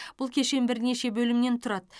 бұл кешен бірнеше бөлімнен тұрады